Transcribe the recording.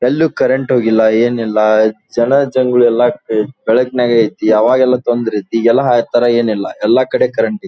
ಎಲ್ಲೂ ಕರೆಂಟ್ ಹೋಗಿಲ್ಲ ಏನು ಇಲ್ಲ ಜನ ಜಂಗುಳಿ ಎಲ್ಲ ಬೆಳಕಲ್ಲಿ ಐತೆ. ಅವಾಗ್ ಎಲ್ಲ ತೊಂದರೆ ಇತ್ತು ಈಗೆಲ್ಲ ಆತರ ಇಲ್ಲ ಎಲ್ಲಕಡೆ ಕರೆಂಟ್ ಐತೆ.